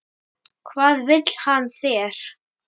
Hvað vill hann þér?